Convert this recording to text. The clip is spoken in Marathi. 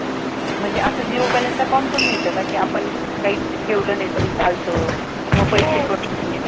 म्हणजे अस zero balance account पण मिळत का कि आपण काहीच ठेवल माही तरी चालतं मग पैसे cut होत नाही